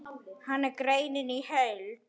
Hér er greinin í heild.